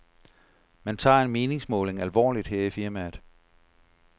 Man tager en meningsmåling alvorligt her i firmaet.